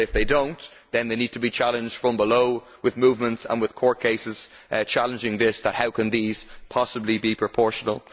But if they do not, then they need to be challenged from below with movements and with court cases challenging this that how can these possibly be proportional?